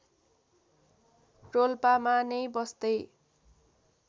रोल्पामा नै बस्दै